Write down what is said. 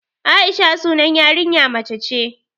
Aisha sunan yarinya mace ce